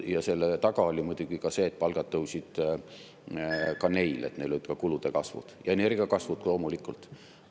Ja selle taga oli muidugi ka see, et nende palgad tõusid samuti, neil oli kulude kasv ja energiatasude kasv ka loomulikult.